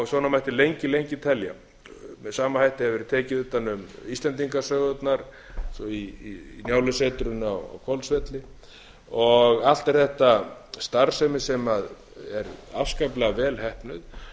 svona mætti lengi lengi telja með sama hætti hefur verið tekið utan um íslendingasögurnar eins og njálusetrið á hvolsvelli allt er þetta starfsemi sem er afskaplega vel heppnuð og hefur